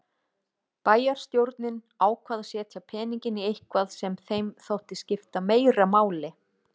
Bæjarstjórnin ákvað að setja peninginn í eitthvað sem þeim þótti skipta meira máli.